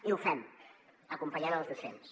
i ho fem acompanyant els docents